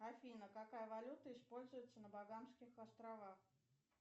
афина какая валюта используется на багамских островах